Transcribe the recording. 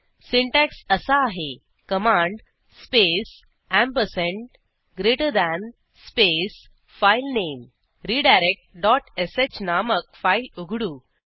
syntax असा आहे command space ampersand greater than space file name redirectश नामक फाईल उघडू